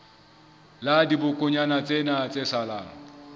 la dibokonyana tsena tse salang